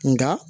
Nka